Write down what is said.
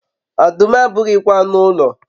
ọdụm abụghịkwa anụ ụlọ